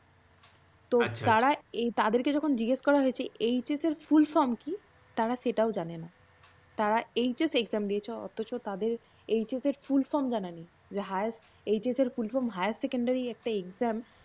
তারা তাদেরকে যখন জিজ্ঞেস করা হয়েছে HS এর full form কী তারা সেটাও জানেনা। তারা HS exam দিয়েছে অথচ তাদের HS এর full form জানা নেই। HS এর full form higher secondary একটা exam